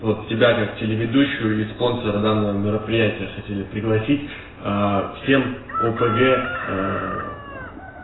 вот тебя как телеведущую и спонсора данного мероприятия хотели пригласить всем опг